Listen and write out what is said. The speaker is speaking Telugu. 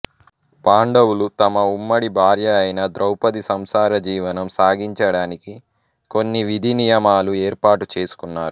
పాండవులు తమ ఉమ్మడి భార్యయైన ద్రౌపది సంసార జీవనం సాగించడానికి కొన్ని విధి నియమాలు ఏర్పాటు చేసుకున్నారు